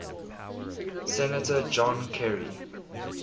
senator john kerry